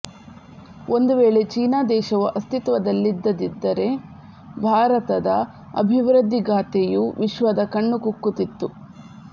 ಒಂದು ವೇಳೆ ಚೀನಾ ದೇಶವು ಅಸ್ತಿತ್ವದಲ್ಲಿಲ್ಲದಿದ್ದರೆ ಭಾರತದ ಅಭಿವೃದ್ಧಿಗಾಥೆಯು ವಿಶ್ವದ ಕಣ್ಣು ಕುಕ್ಕುತ್ತಿತ್ತು